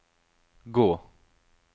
gå